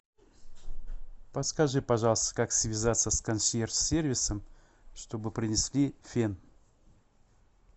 подскажи пожалуйста как связаться с консьерж сервисом чтобы принесли фен